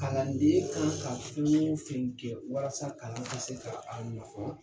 Kalanden kan ka fɛn o fɛn kɛ walasa kalan ka se ka a ɲɔgɔn